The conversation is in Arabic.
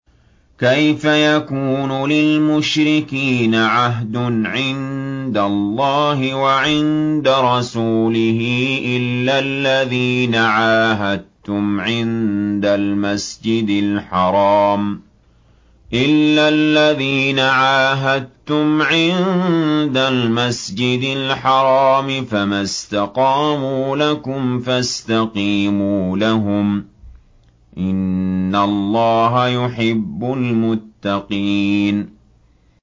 كَيْفَ يَكُونُ لِلْمُشْرِكِينَ عَهْدٌ عِندَ اللَّهِ وَعِندَ رَسُولِهِ إِلَّا الَّذِينَ عَاهَدتُّمْ عِندَ الْمَسْجِدِ الْحَرَامِ ۖ فَمَا اسْتَقَامُوا لَكُمْ فَاسْتَقِيمُوا لَهُمْ ۚ إِنَّ اللَّهَ يُحِبُّ الْمُتَّقِينَ